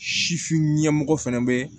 Sifin ɲɛmɔgɔ fɛnɛ bɛ